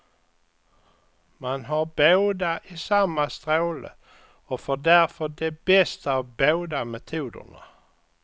Man har båda i samma stråle och får därför det bästa av båda metoderna.